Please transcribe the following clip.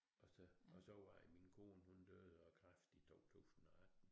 Og så og var det min kone hun døde af kræft i 2018